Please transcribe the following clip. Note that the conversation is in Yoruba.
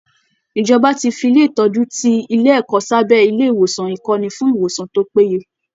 Ìjọba ti fi ilé ìtọ́jú ti ilé ẹ̀kọ́ sábẹ́ ilé ìwòsàn ìkọ́ni fún ìwòsàn tó péye